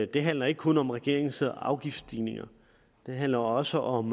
det handler ikke kun om regeringens afgiftsstigninger det handler også om